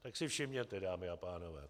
Tak si všimněte, dámy a pánové!